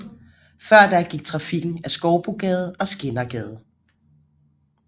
Før da gik trafikken ad Skoubogade og Skindergade